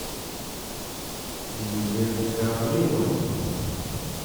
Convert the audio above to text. юлия гавриловна